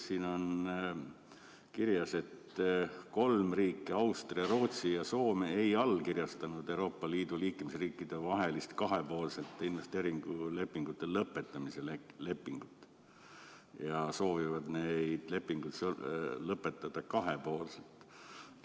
Siin on kirjas, et kolm riiki – Austria, Rootsi ja Soome – ei allkirjastanud Euroopa Liidu liikmesriikide vahelist kahepoolsete investeeringulepingute lõpetamise lepingut ja soovivad need lepingud lõpetada kahepoolselt.